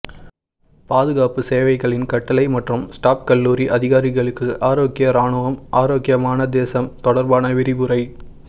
பாதுகாப்பு சேவைகளின் கட்டளை மற்றும் ஸ்டாப் கல்லூரி அதிகாரிகளுக்கு ஆரோக்கிய இராணுவம் ஆரோக்கியமான தேசம் தொடர்பான விரிவுரை